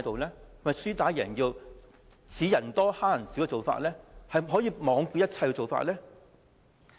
是否輸打贏要，以人數多欺負人數少的做法，罔顧一切的做法呢？